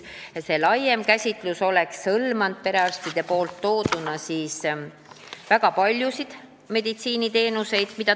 See laiem käsitlus oleks hõlmanud perearstide arvamuse järgi väga paljusid meditsiiniteenuseid.